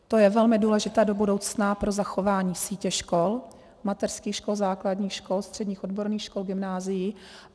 To je velmi důležité do budoucna pro zachování sítě škol, mateřských škol, základních škol, středních odborných škol, gymnázií.